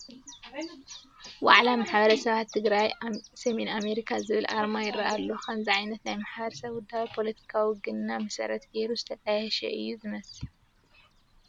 ዋዕላ ማሕበረ-ሰባት ትግራይ ሰሜን ኣሜሪካ ዝብል ኣርማ ይርአ ኣሎ፡፡ ከምዚ ዓይነት ናይ ማሕበረሰብ ውዳበ ፖለቲካዊ ውግንና መሰረት ገይሩ ዝተጣየሸ እዩ ዝመስል፡፡